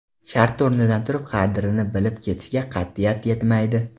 Shartta o‘rnidan turib, qadrini bilib ketishga qat’iyat yetmaydi.